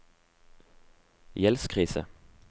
gjeldskrise